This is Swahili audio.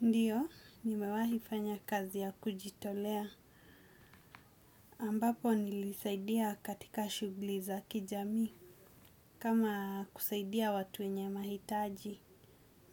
Ndiyo, nimewahi fanya kazi ya kujitolea, ambapo nilisaidia katika shughuli za kijamii, kama kusaidia watu wenye mahitaji,